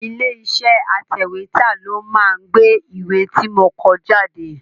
Ilé iṣẹ́ atẹ̀wétà ló máa gbé ìwé ti mo kọ jáde.